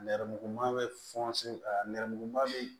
Nɛrɛmuguman bɛ la nɛrɛmuguman bɛ yen